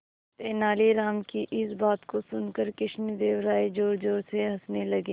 तेनालीराम की इस बात को सुनकर कृष्णदेव राय जोरजोर से हंसने लगे